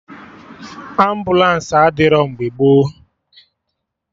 Ambụlansi adịrọ mgbe gboo